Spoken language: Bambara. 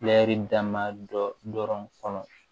dama dɔ kɔnɔ